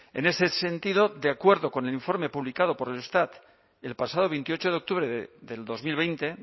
en ese sentido de acuerdo con el informe publicado por el eustat el pasado veintiocho de octubre del dos mil veinte